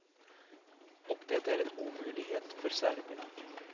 Och det är en omöjlighet för serberna.